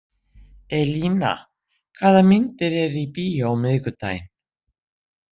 Elína, hvaða myndir eru í bíó á miðvikudaginn?